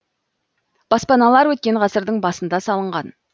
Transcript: баспаналар өткен ғасырдың басында салынған